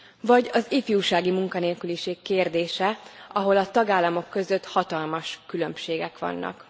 Vagy az ifjúsági munkanélküliség kérdése, ahol a tagállamok között hatalmas különbségek vannak.